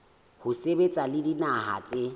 ho sebetsa le dinaha tse